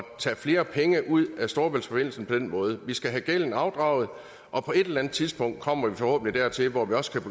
tage flere penge ud af storebæltsforbindelsen på den måde vi skal have gælden afdraget og på et eller andet tidspunkt kommer vi forhåbentlig dertil hvor vi også kan